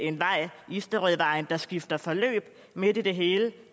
en vej isterødvejen der skifter forløb midt i det hele